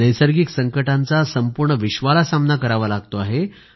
नैसर्गिक संकटांचा संपूर्ण विश्वाला सामना करावा लागतो आहे